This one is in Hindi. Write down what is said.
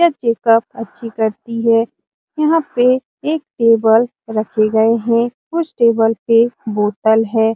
यह चेक-अप अच्छी करती है यहां पर एक टेबल रखे गए हैं उस टेबल पर बोतल है।